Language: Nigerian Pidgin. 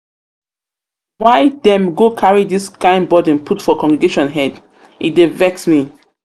dem go carry dis kain burden put for congregation head? e dey vex me.